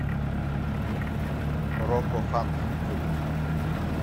рокко хант ютуб